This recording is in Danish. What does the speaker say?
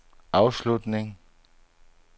afslutning